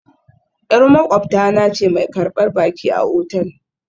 Yar maƙwabta na ce mai karbar baki a otal